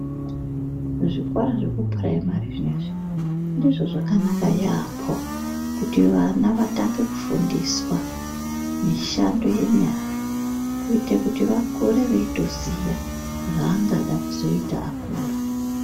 Zvikora zvekupuraimari zvinezvi ndizvo zvakanaka yambo kuti vana vatange kufundiswa mishando yenyara kuite kuti vakure veitoziya zvaangada kuzoita akura.